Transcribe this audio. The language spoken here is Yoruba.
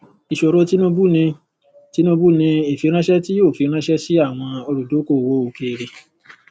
ìṣòro tinubu ni tinubu ni ìfiranṣẹ tí yóò fi ránṣẹ sí àwọn olùdókowò òkèèrè